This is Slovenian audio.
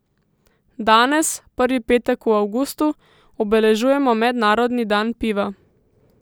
Danes, prvi petek v avgustu, obeležujemo mednarodni dan piva.